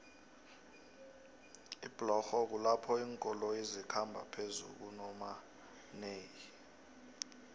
iblorho kulapho linkoloyo zikhamba phezukuomanei